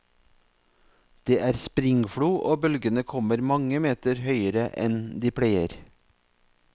Det er springflo og bølgene kommer mange meter høyere enn de pleier.